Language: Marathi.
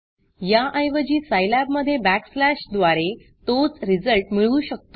याऐवजी Scilabसाईलॅब मधे backslashबॅकस्लॅश द्वारे तोच रिझल्ट मिळवू शकतो